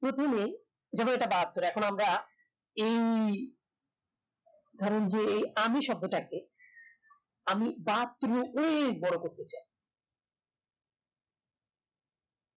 প্রথমেই যেমন এটা বাহাত্তর এখন আমরা এই ধরেন যে আমি শব্দটাকে আমি বাহাত্তরের অনেক বড় করতে চাই